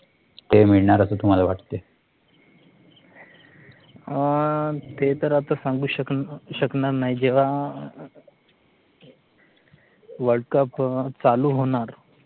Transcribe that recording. ते तर आता सांगू शकणार नाही, जेव्हा WORLD CUP चालू होणार